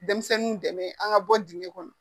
Denmisɛnninw dɛmɛ an ka bɔ dingɛ kɔnɔ